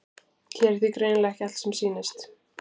Hér er því greinilega ekki allt sem sýnist.